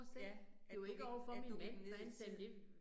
Ja, det jo ikke, at du gik ned fra hans side